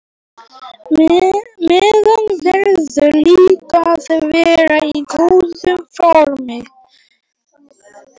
Maður verður líka að vera í góðu formi.